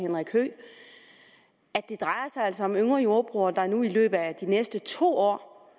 det drejer sig altså om yngre jordbrugere der nu i løbet af de næste to år